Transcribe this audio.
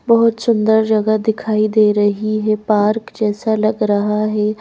बहुत सुंदर जगह दिखाई दे रही है पार्क जैसा लग रहा है।